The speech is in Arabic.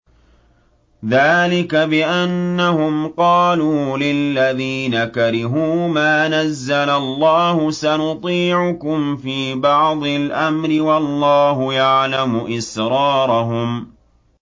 ذَٰلِكَ بِأَنَّهُمْ قَالُوا لِلَّذِينَ كَرِهُوا مَا نَزَّلَ اللَّهُ سَنُطِيعُكُمْ فِي بَعْضِ الْأَمْرِ ۖ وَاللَّهُ يَعْلَمُ إِسْرَارَهُمْ